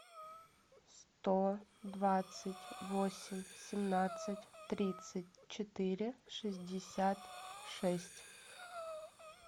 сто двадцать восемь семнадцать тридцать четыре шестьдесят шесть